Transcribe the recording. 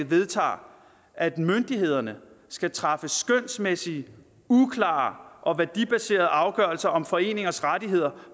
vedtager at myndighederne skal træffe skønsmæssige uklare og værdibaserede afgørelser om foreningers rettigheder